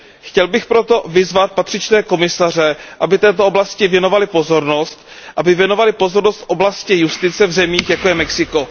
Chtěl bych proto vyzvat patřičné komisaře, aby této oblasti věnovali pozornost, aby věnovali pozornost oblasti justice v zemích, jako je Mexiko.